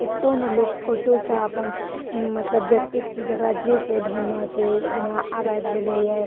एतो ने लोग फोटो से अपन मतलब जोतेक चीज जकड़ा जे के ढूंढने छै जना आब एब गेले ये --